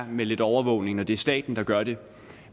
med lidt overvågning når det er staten der gør det